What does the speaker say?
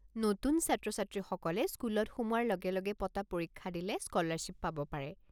নতুন ছাত্ৰ-ছাত্ৰীসকলে স্কুলত সোমোৱাৰ লগে লগে পতা পৰীক্ষা দিলে স্কলাৰশ্বিপ পাব পাৰে।